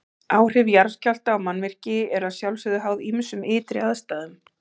Áhrif jarðskjálfta á mannvirki eru að sjálfsögðu háð ýmsum ytri aðstæðum.